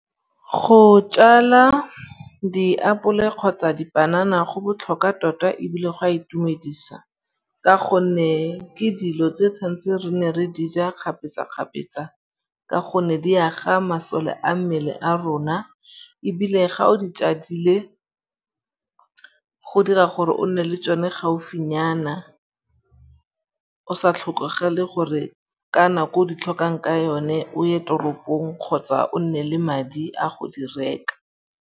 Go tjala diapole kgotsa dipanana go botlhokwa tota ebile go a itumedisa ka gonne ke dilo tse tshwanetseng re ne re dija kgapetsa-kgapetsa ka gonne di aga masole a mmele a rona ebile ga o di tjadile go dira gore o nne le tšone gaufinyana. O sa tlhokagale gore ka nako o di tlhokang ka yone o ye toropong kgotsa o nne le madi a go di reka.